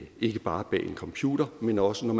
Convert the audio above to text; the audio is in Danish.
bare når en computer men også når